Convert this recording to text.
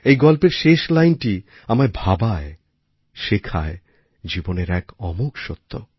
এই গল্পের শেষ লাইনটি আমাদের ভাবায় শেখায় জীবনের এক অমোঘ সত্য